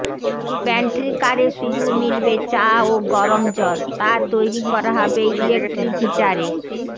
pantry কারে শুধু মিলবে চা ও গরম জল তা তৈরি করা হবে ইলেক্ট্রিক হিটারে